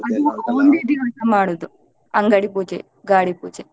ಅದು ಒಂದೇ ದಿವಸ ಮಾಡುವುದು ಅಂಗಡಿ ಪೂಜೆ, ಗಾಡಿ ಪೂಜೆ.